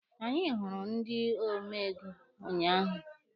Anyị hụrụ ndị ome ego ụnyaahụ.